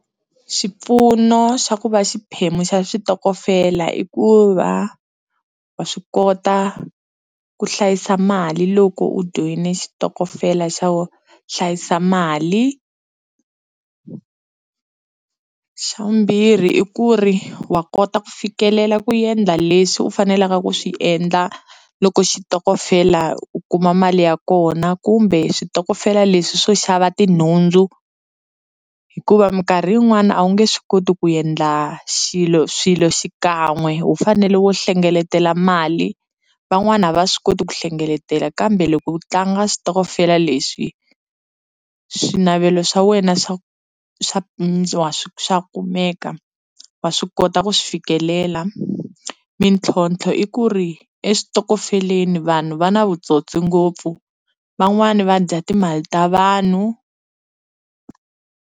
Xipfuno xa ku va xiphemu xa xitokofela i ku va wa swi kota ku hlayisa mali loko u joyine xitokofela xa ku hlayisa mali, xa vumbirhi i ku ri wa kota ku fikelela ku endla leswi u faneleke ku swi endla loko xitokofela u kuma mali ya kona kumbe switokofela leswi swo xava tinhundzu hikuva minkarhi yin'wani a wu nge swi koti ku endla xilo swilo xikan'we ho fanele wo hlengeletela mali van'wana a va swi koti ku hlengeletela kambe loko ku tlanga xitokofela lexi swinavelo swa wena swa swa kumeka wa swi kota ku swi fikelela mintlhontlho i ku ri eswitokofeleni vanhu va na vutsotsi ngopfu van'wana va dya timali ta vanhu.